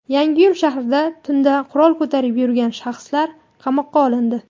Yangiyo‘l shahrida tunda qurol ko‘tarib yurgan shaxslar qamoqqa olindi.